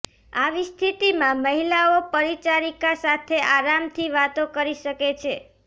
આવી સ્થિતિમાં મહિલાઓ પરિચારિકા સાથે આરામથી વાતો કરી શકે છે